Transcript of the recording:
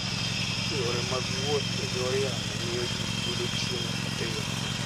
Yore mag wuoth e kor yamo miyo ji yudo chiemo mapiyo.